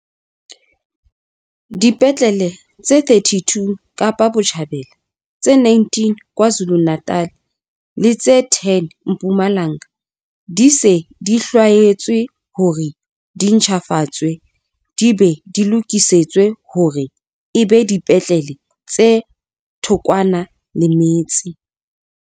Dipetlele tse 32 Kapa Botjhabela, tse 19 KwaZulu-Natal le tse 10 Mpumalanga di se di hlwaetswe hore di ntjhafatswe di be di lokisetswe hore e be dipetlele tse thokwana le metse.